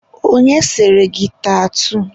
Onye sere gị tatuu?